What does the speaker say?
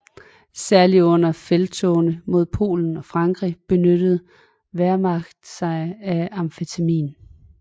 Særlig under felttogene mod Polen og Frankrig benyttede Wehrmacht sig af amfetamin